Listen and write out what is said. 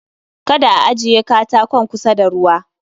Kada a ajiye katakon kusa da ruwa